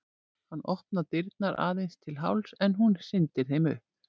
Hann opnar dyrnar aðeins til hálfs en hún hrindir þeim upp.